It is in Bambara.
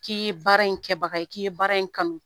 K'i ye baara in kɛbaga ye k'i ye baara in kanu